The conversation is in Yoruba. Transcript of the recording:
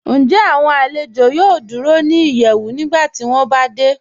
Ǹjẹ́ awọn alẹ̀jọ yòò dúró ni ìyẹ́wù nígbàtí wọn bá dẹ̀?